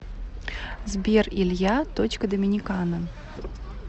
сбер илья точка доминикана